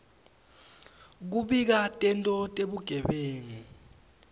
kubika tento tebugebengu